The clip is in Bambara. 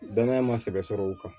Danaya ma sɛbɛ sɔrɔ o kan